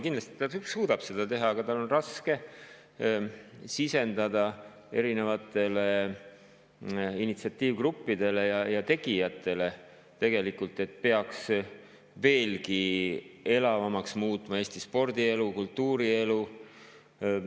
Kindlasti ta suudab seda teha, aga tal on tegelikult raske sisendada erinevatele initsiatiivgruppidele ja tegijatele, et peaks veelgi elavamaks muutma Eesti spordielu ja kultuurielu.